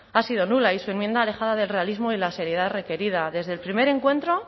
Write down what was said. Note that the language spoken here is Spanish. ha sido nula y su enmienda alejada del realismo y la seriedad requerida desde el primer encuentro